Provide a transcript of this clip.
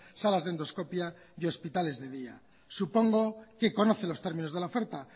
salas de endoscopia y hospitales de día supongo que conoce los términos de la oferta